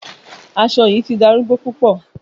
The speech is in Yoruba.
Aṣọ aṣọ yii ti darugbo pupọ